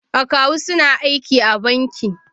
Akawu suna aiki a banki.